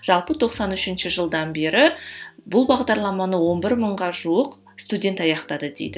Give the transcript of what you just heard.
жалпы тоқсан үшінші жылдан бері бұл бағдарламаны он бір мыңға жуық студент аяқтады дейді